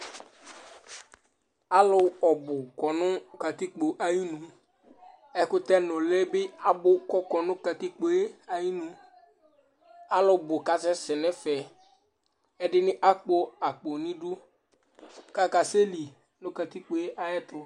Alu ɔbʋ kɔŋʋ katikpo ayʋ iŋu Ɛkutɛ ŋʋli bi abʋ kʋ akɔ ŋu katikpoe ayʋ iŋu Alubʋ kasɛsɛ ŋu ɛfɛ Ɛɖìní akpɔ akpo ŋu iɖʋ kʋ akasɛli ŋu katikpoe ayɛtʋ